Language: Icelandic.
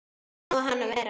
Hvernig á hann að vera?